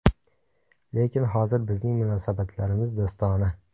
Lekin hozir bizning munosabatlarimiz do‘stona.